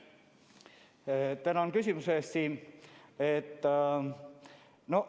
Tänan küsimuse eest, Siim!